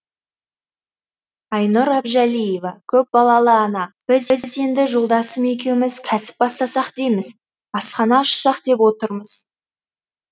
айнұр әбжалиева көпбалалы ана біз енді жолдасым екеуміз кәсіп бастасақ дейміз асхана ашсақ деп отырмыз